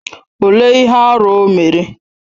Olee ihe arụ o mere?